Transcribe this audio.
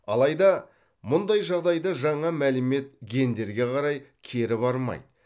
алайда мұндай жағдайда жаңа мәлімет гендерге қарай кері бармайды